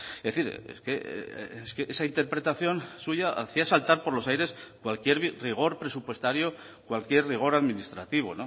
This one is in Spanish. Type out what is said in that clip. es decir es que esa interpretación suya hacía saltar por los aires cualquier rigor presupuestario cualquier rigor administrativo